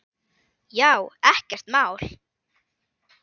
Já, ekkert mál.